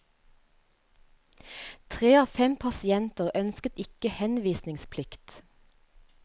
Tre av fem pasienter ønsket ikke henvisningsplikt.